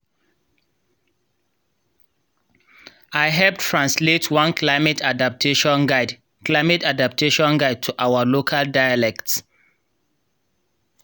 i hep translate one climate adaptation guide climate adaptation guide to our local dialect.